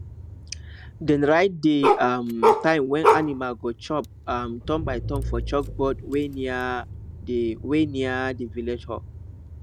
dem write the um time when animal go chop um turnbyturn for chalkboard wey near the wey near the village hall